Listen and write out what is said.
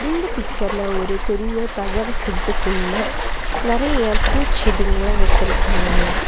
இந்த பிக்சர்ல ஒரு பெரிய தகர செட்டுக்குள்ள நெறைய பூச்செடிகங்கல வச்சிருக்காங்க.